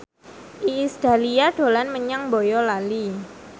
Iis Dahlia dolan menyang Boyolali